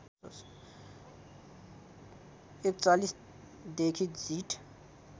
४१ देखि जीत